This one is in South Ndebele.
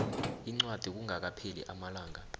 incwadi kungakapheli amalanga